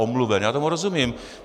Omluven, já tomu rozumím.